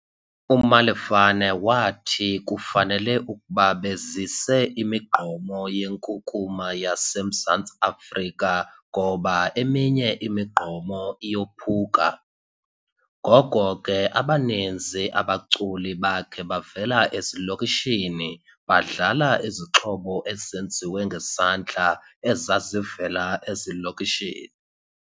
UMalefane wathi kufanele ukuba bezise imigqomo yenkunkuma yaseMzantsi Afrika ngoba eminye imigqomo iyaphuka. Ngoko ke abaninzi abaculi bakhe bavela ezilokishini, badlala izixhobo ezenziwe ngesandla ezazivela ezilokishini.